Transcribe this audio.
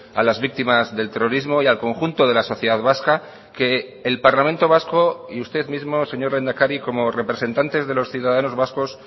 a las víctimas del terrorismo y al conjunto de la sociedad vasca que el parlamento vasco y usted mismo señor lehendakari como representantes de los ciudadanos vascos